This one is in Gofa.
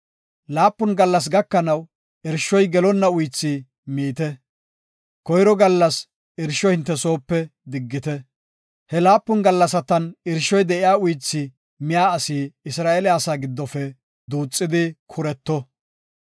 “Laapun gallas gakanaw irshoy gelonna uythi miite. Koyro gallas irsho hinte soope diggite. He laapun gallasatan irshoy de7iya uythi miya asi Isra7eele asaa giddofe duuxidi kureto.